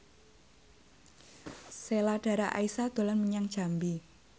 Sheila Dara Aisha dolan menyang Jambi